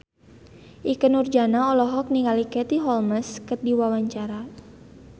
Ikke Nurjanah olohok ningali Katie Holmes keur diwawancara